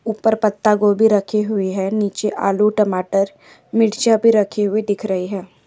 उपर पत्तागोभी रखी हुई है नीचे आलू टमाटर मिर्चे भी रखी हुई दिख रही है।